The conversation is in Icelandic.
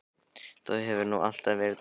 Þú hefur nú alltaf verið dálítið veik fyrir